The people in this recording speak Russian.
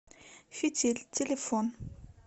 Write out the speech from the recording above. фитиль телефон